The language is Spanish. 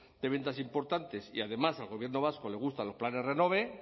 de ventas importantes y además al gobierno vasco le gustan los planes renove